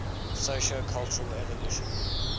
sociocultural evolution